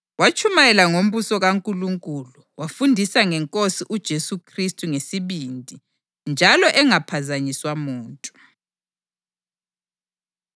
Watshumayela ngombuso kaNkulunkulu, wafundisa ngeNkosi uJesu Khristu ngesibindi njalo engaphazanyiswa muntu.